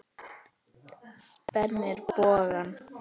Spennir bogann.